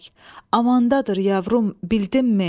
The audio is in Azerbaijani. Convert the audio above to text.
Amandadır yavrum, bildinmi?